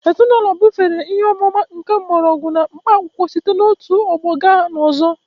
Ezinaụlọ bufere ihe ọmụma nke mgbọrọgwụ na mkpaakwụkwọ site n'otu ọgbọ gaa n'ọzọ